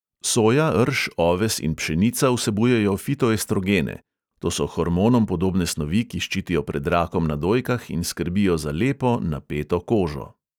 Soja, rž, oves in pšenica vsebujejo fitoestrogene; to so hormonom podobne snovi, ki ščitijo pred rakom na dojkah in skrbijo za lepo, napeto kožo.